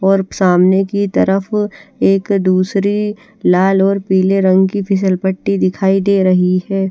और सामने की तरफ एक दूसरी लाल और पिली रंग की फिसल पट्टी दिखाई दे रही है।